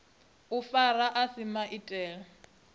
u fara a si maitele